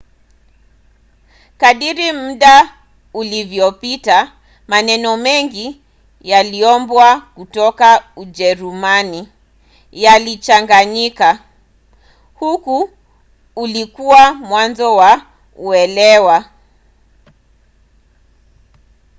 kadiri muda ulivyopita maneno mengi yaliyoombwa kutoka ujerumani yalichanganyika. huu ulikuwa mwanzo wa uelewa